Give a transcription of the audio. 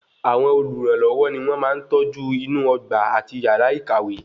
Àwọn olùrànlọwọ ní wọn máa ń tọ́jú inú ọgbà àti yàrá ìkàwé